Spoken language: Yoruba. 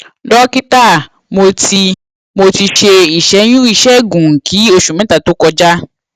dókítà mo ti mo ti ṣe ìṣẹyún ìṣègùn kí oṣù mẹta tó kọjá